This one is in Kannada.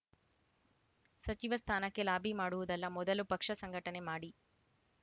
ಸಚಿವ ಸ್ಥಾನಕ್ಕೆ ಲಾಬಿ ಮಾಡುವುದಲ್ಲ ಮೊದಲು ಪಕ್ಷ ಸಂಘಟನೆ ಮಾಡಿ